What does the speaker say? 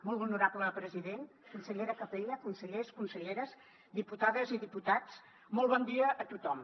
molt honorable president consellera capella consellers conselleres diputades i diputats molt bon dia a tothom